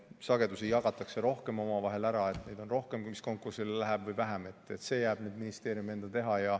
Sagedusi jagatakse rohkem omavahel ära ja kas neid on rohkem, mis konkursile lähevad, või vähem, see jääb ministeeriumi enda teha.